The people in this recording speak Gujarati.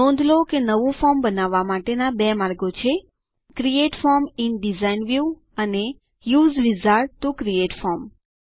નોંધ લો કે નવું ફોર્મ બનવવા માટેના બે માર્ગો છે create form in design view and U S E wizard T O create form